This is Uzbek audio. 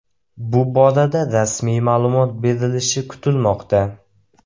Bu borada rasmiy ma’lumot berilishi kutilmoqda.